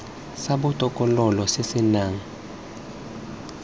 sa botokololo se se nang